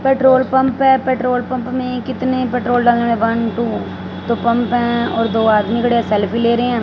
Petrol pump हैं। Petrol pump में कितने पेट्रोल डालने वन-टू जो पंप है और दो आदमी खड़े सेल्फी ले रहे हैं।